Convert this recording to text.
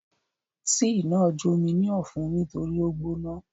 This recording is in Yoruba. Tíì náà jó mi ní ọ̀fun nítorí ó gbóná.